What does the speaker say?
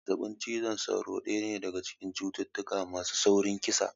Zazzaɓin cizon sauro daya ne daga cikin cututtuka masu saurin kisa